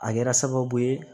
A kɛra sababu ye